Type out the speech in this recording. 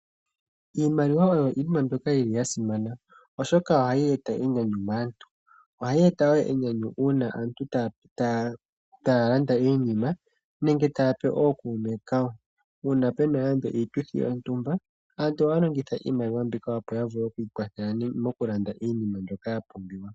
Iimaliwa oyo iinima mbyoka yi li ya simana, oshoka ohayi e ta enyanyu maantu. Oha yi e ta wo enyanyu uuna aantu ta ya landa iinima nenge ta ya pe ookuume ka wo. Uuna puna nande iituthi yontumba aantu oha ya longitha iimaliwa mbika opo ya vule oku ikwathela mo ku landa iinima mbyoka ya pumbiwa.